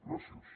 gràcies